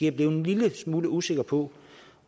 er blevet lille smule usikker på